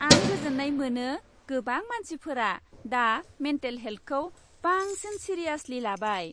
आं गोजोन्नाय मोनो गोबां मानसिफोरा दा मेन्टेल हेल्थखौ बांसिन सिरियासलि लाबाय।